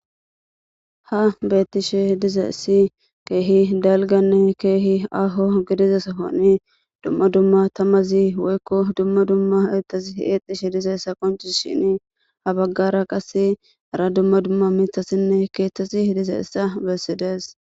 ha bettishe dizeessi keehi dalganne keehi aho gedizesafoni dumma dumma tamazi woykko dumma dumma eetasi eexishe dizeessa qonci shini ha baggara qas ara dumma dumma mithasinne keeththesi hidize essa bessidees